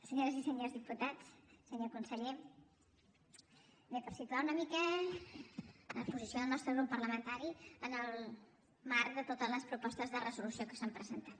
senyores i senyors diputats senyor conseller bé per situar una mica la posició del nostre grup parlamentari en el marc de totes les propostes de resolució que s’han presentat